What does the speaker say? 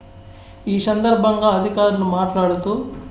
ఈ సందర్భంగా అధికారులు మాట్లాడుతూ